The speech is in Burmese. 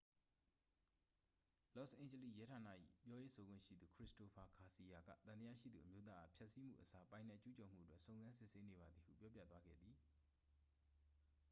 လော့စ်အိန်ဂျလိစ် ရဲဌာန၏ ပြောရေးဆိုခွင့်ရှိသူ ခရစ္စတိုဖာဂါစီယာက သံသရှိသူအမျိုးသားအား ဖျက်စီးမှုအစား ပိုင်နက်ကျူးကျော်မှုအတွက် စုံစမ်းစစ်ဆေးနေပါသည်ဟု ပြောပြသွားခဲ့သည်